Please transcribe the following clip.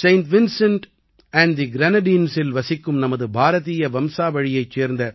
saint Vincent and the க்ரெனாடீன்ஸில் வசிக்கும் நமது பாரதீய வம்சாவழியைச் சேர்ந்த